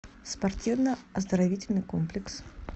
спортивно оздоровительный комплекс